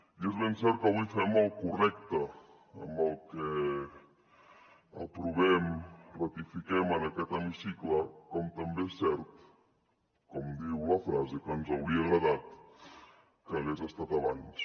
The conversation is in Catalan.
i és ben cert que avui fem el correcte amb el que aprovem ratifiquem en aquest hemicicle com també és cert com diu la frase que ens hauria agradat que hagués estat abans